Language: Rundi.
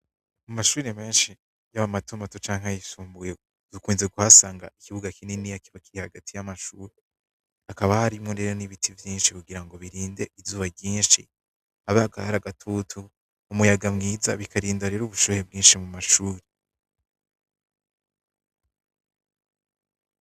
Amashure menshi yaba mato mato canke ayisumbuye dukomeza kuhasanga kibuga kininiya kiri hagati y'amashure, hakaba harimwo rero n'ibiti vyinshi kugira birinde izuba ryinshi, hari agatutu, umuyaga mwiza, bikarinda rero ubushuhe bwinshi mu mashure.